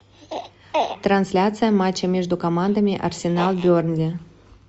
трансляция матча между командами арсенал бернли